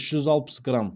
үш жүз алпыс грамм